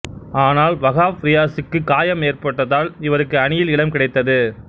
ஆனால் வகாப் ரியாசுக்கு காயம் ஏற்பட்டதால் இவருக்கு அணியில் இடம் கிடைத்தது